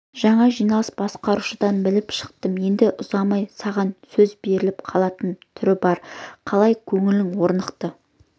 жаңа жиналыс басқарушыдан біліп шықтым енді ұзамай саған сөз беріліп қалатын түрі бар қалай көңілің орнықты